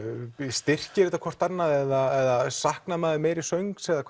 styrkir þetta hvort annað eða saknar maður meiri söngs eða